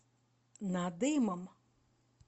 надымом